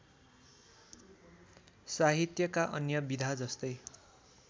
साहित्यका अन्य विधाजस्तै